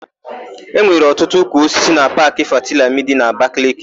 E nwere ọtụtụ ukwuosisi na Paakị Fatilami dị n'Abakaliki.